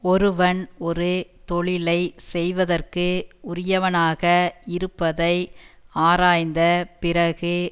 ஒருவன் ஒரு தொழிலை செய்வதற்கு உரியவனாக இருப்பதை ஆராய்ந்த பிறகு